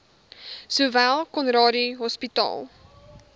sowel conradie hospitaal